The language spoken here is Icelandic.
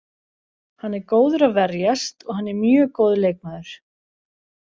Hann er góður að verjast og hann er mjög góður leikmaður.